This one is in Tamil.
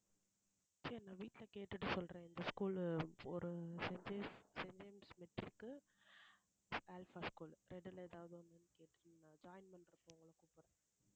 சரி நான் வீட்டுல கேட்டுட்டு சொல்றேன் இந்த school ஒரு saint James saint James matric க்கு அல்ஃபா school உ ரெண்டுல எதாவது ஒண்ணு இருந்தா join பண்றப்போ உங்களை கூப்பிடறேன்